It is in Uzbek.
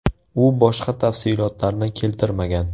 U boshqa tafsilotlarni keltirmagan.